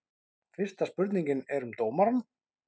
Fyrsta spurningin er um dómarann?